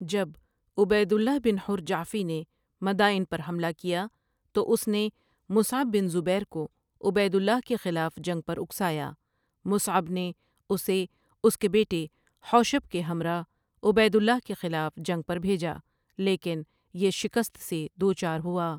جب عبید اللہ بن حر جعفی نے مدائن پر حملہ کیا تو اس نے مصعب بن زبیر کو عبید اللہ کے خلاف جنگ پر اکسایا مصعب نے اسے اسکے بیٹۓ حوشب کے ہمراہ عبید اللہ کے خلاف جنگ پر بھیجا لیکن یہ شکست سے دوچار ہوا۔